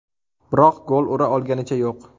Biroq gol ura olganicha yo‘q.